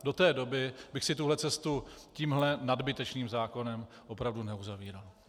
Do té doby bych si tuhle cestu tímhle nadbytečným zákonem opravdu neuzavíral.